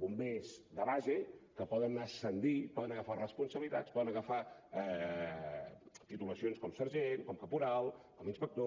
bombers de base que poden ascendir poden agafar responsabilitats poden agafar titulacions com sergent com caporal com inspector